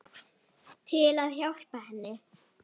Til að hjálpa henni.